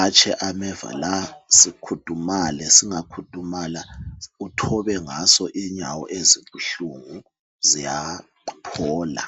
atshe ameva la sikhudumale. Singakhudumala uthobe ngaso inyawo ezibuhlungu. Ziyaphola.